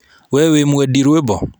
We wĩ mwendi rũĩmbo?